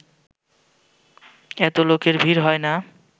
এত লোকের ভিড় হয় না